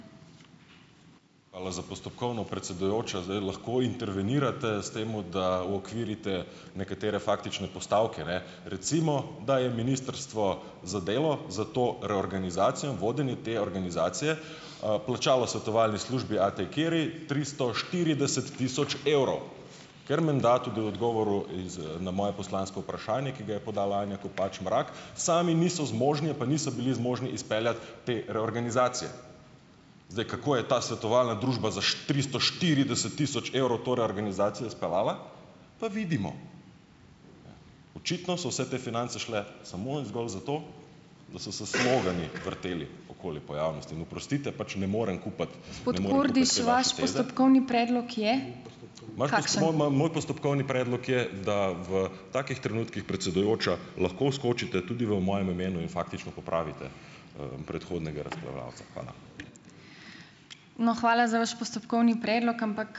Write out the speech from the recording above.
Hvala za postopkovno, predsedujoča. Zdaj lahko intervenirate s tem, da uokvirite nekatere faktične postavke, ne. Recimo, da je ministrstvo za delo za to reorganizacijo in vodenje te organizacije, plačalo svetovalni službi A. T. Kearney tristo štirideset tisoč evrov, ker menda tudi v odgovoru na moje poslansko vprašanje, ki ga je podala Anja Kopač Mrak, sami niso zmožni ali pa niso bili zmožni izpeljati te reorganizacije. Zdaj, kako je ta svetovalna družba za tristo štirideset tisoč evrov to reorganizacijo speljala, pa vidimo. Očitno so vse te finance šle samo in zgolj zato, da so se slogani vrteli okoli pojavnosti in, oprostite, pač ne morem kupiti. Moj postopkovni predlog je, da v takih trenutkih, predsedujoča, lahko vskočite tudi v mojem imenu in faktično popravite, predhodnega razpravljavca. Hvala.